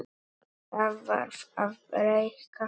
Það varð að breikka hana.